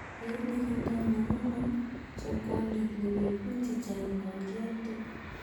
Beit nekindo nemi gwony, chob kondeet newekun chechang yon kioldo.